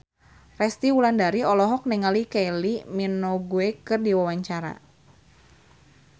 Resty Wulandari olohok ningali Kylie Minogue keur diwawancara